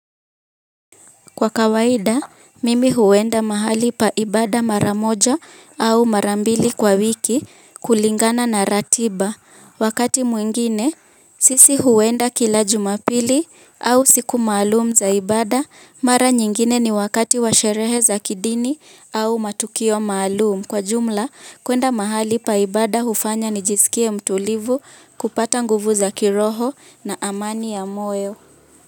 Kwa kawaida, mimi huenda mahali pa ibada mara moja au mara mbili kwa wiki kulingana na ratiba. Wakati mwingine, sisi huenda kila Jumapili au siku maalumu za ibada, mara nyingine ni wakati wa sherehe za kidini au matukio maalumu. Kwa jumla, kwenda mahali pa ibada hufanya nijisikie mtulivu kupata nguvu za kiroho na amani ya moyo.